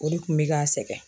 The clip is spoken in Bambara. O de kun bɛ k'an sɛgɛn